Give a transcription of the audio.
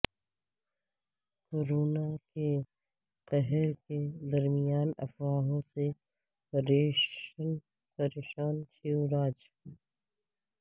corona کے قہر کے درمیان افواہوں سے پریشان شیوراج